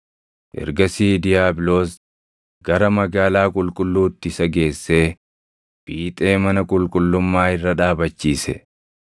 Ergasii diiyaabiloos gara magaalaa qulqulluutti isa geessee fiixee mana qulqullummaa irra dhaabachiise.